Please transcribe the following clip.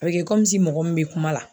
A bɛ kɛ mɔgɔ min be kuma la